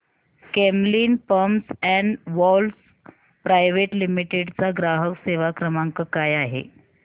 Camlin pumps and valves private limited चा ग्राहक सेवा क्रमांक काय आहे